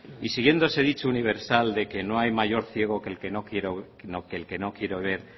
y siguiendo ese dicho universal de que no hay mayor ciego que el que no quiere ver